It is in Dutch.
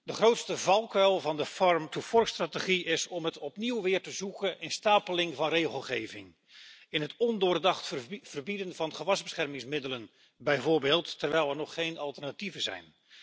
De grootste valkuil van de Farm to Fork Strategy is om het opnieuw te zoeken in een stapeling van regelgeving, in het ondoordacht verbieden van gewasbeschermingsmiddelen bijvoorbeeld, terwijl er nog geen alternatieven zijn.